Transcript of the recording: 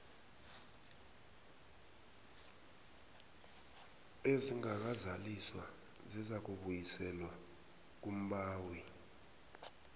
ezingakazaliswa zizakubuyiselwa kumbawi